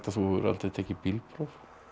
þú hefur aldrei tekið bílpróf